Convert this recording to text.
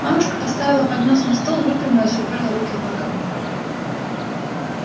мамушка поставила поднос на стол выпрямилась упёрла руки в бока